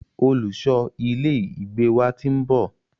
Olùṣọ ilé ìgbé wa ti ń bọ̀.